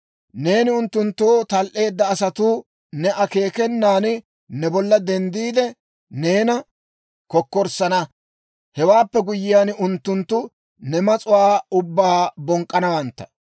Neeni unttunttoo tal"eedda asatuu ne akeekenan ne bolla denddiide, neena kokkorssana. Hewaappe guyyiyaan, unttunttu ne mas'uwaa ubbaa bonk'k'anawantta.